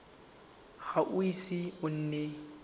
ga o ise o nne